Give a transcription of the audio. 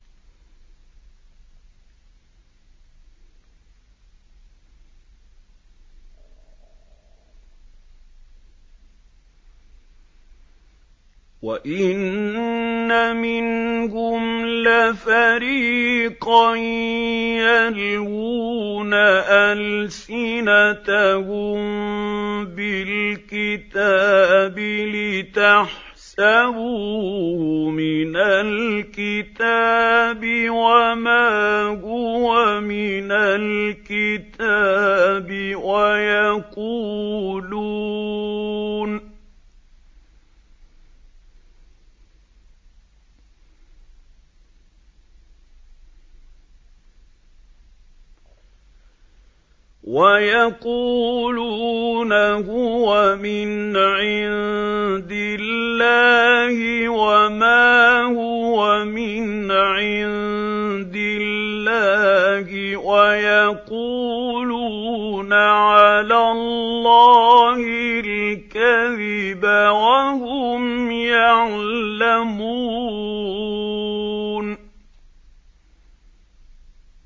وَإِنَّ مِنْهُمْ لَفَرِيقًا يَلْوُونَ أَلْسِنَتَهُم بِالْكِتَابِ لِتَحْسَبُوهُ مِنَ الْكِتَابِ وَمَا هُوَ مِنَ الْكِتَابِ وَيَقُولُونَ هُوَ مِنْ عِندِ اللَّهِ وَمَا هُوَ مِنْ عِندِ اللَّهِ وَيَقُولُونَ عَلَى اللَّهِ الْكَذِبَ وَهُمْ يَعْلَمُونَ